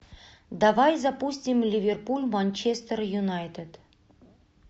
давай запустим ливерпуль манчестер юнайтед